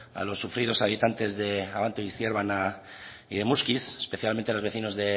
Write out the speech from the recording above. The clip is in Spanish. a los sufridos habitantes de abanto y ciérvana y de muskiz especialmente a los vecinos